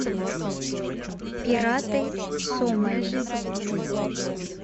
пираты сомали